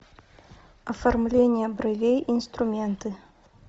оформление бровей инструменты